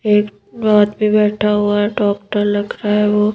एक आदमी बैठा हुआ है डॉक्टर लग रहा है वो।